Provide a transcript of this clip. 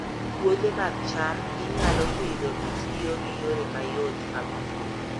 Puothe mag cham inyalo Pidho kitiyo gi yore mayot mag pur